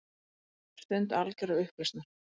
Stund algjörrar upplausnar.